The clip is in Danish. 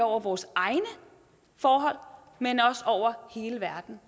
over vores egne forhold men også over hele verden